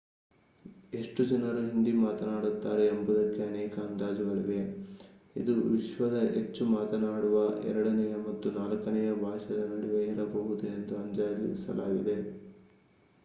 ಎಷ್ಟು ಜನರು ಹಿಂದಿ ಮಾತನಾಡುತ್ತಾರೆ ಎಂಬುದಕ್ಕೆ ಅನೇಕ ಅಂದಾಜುಗಳಿವೆ ಇದು ವಿಶ್ವದ ಹೆಚ್ಚು ಮಾತನಾಡುವ ಎರಡನೆಯ ಮತ್ತು ನಾಲ್ಕನೆಯ ಭಾಷೆಯ ನಡುವೆ ಇರಬಹುದು ಎಂದು ಅಂದಾಜಿಸಲಾಗಿದೆ